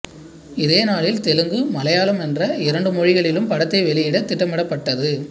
இதே நாளில் தெலுங்கு மலையாளம் என்ற இரண்டு மொழிகளிலும் படத்தை வெளியிட திட்டமிடப்பட்டது